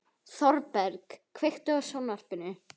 Þorberg, kveiktu á sjónvarpinu.